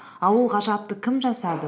а ол ғажапты кім жасады